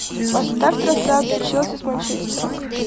поставь трансляцию челси с манчестером